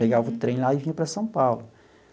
Pegava o trem lá e vinha para São Paulo.